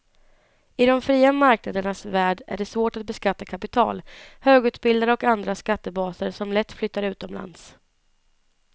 I de fria marknadernas värld är det svårt att beskatta kapital, högutbildade och andra skattebaser som lätt flyttar utomlands.